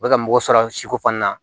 U bɛ ka mɔgɔ sɔrɔ siko fana na